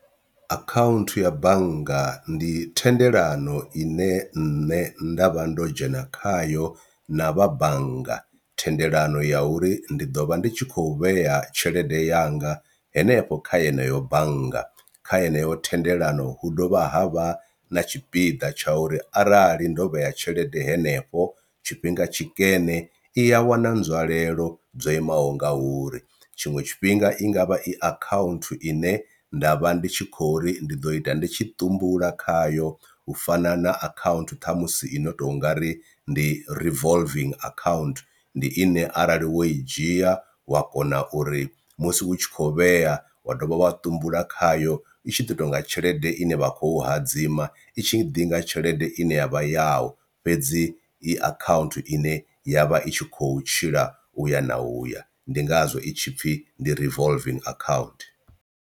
Akhaunthu ya bannga ndi thendelano ine nṋe nda vha ndo dzhena khayo na vha bannga, thendelano ya uri ndi ḓo vha ndi tshi khou vhea tshelede yanga henefho kha yeneyo bannga kha heneyo thendelano hu dovha ha vha na tshipiḓa tsha uri arali ndo vhea tshelede henefho tshifhinga tshikene i a wana nzwalelo dzo imaho nga uri. Tshiṅwe tshifhinga i ngavha i account ine nda vha ndi tshi khou ri ndi ḓo ita nditshi ṱumbula khayo u fana na account ṱhamusi i no to ngari ndi revolving account ndi ine arali wo i dzhia wa kona uri musi hu tshi khou vhea wa dovha wa ṱumbula khayo itshi ḓi tonga tshelede ine vha khou hadzima itshi ḓinga tshelede ine yavha yau, fhedzi i account ine ya vha i tshi khou tshila uya na uya ndi ngazwo itshi pfhi ndi revolving account.